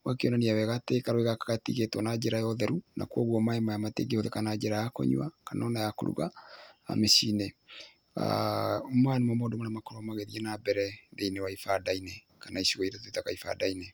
Gũgakĩonania wega atĩ karũĩ gaka gatiigĩtwo na njĩra ya ũtheru na kwoguo maĩ maya matingĩhũthĩka na njĩra ya kũnyua kana ona ya kũruga micĩinĩ. Maya nĩmo maũndũ marĩa makoragwo magĩthiĩ na mbere thĩinĩ wa ibanda-inĩ kana icigo iria twĩtaga ibanda-inĩ.